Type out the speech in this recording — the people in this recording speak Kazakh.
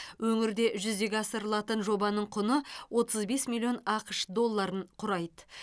өңірде жүзеге асырылатын жобаның құны отыз бес миллион ақш долларын құрайды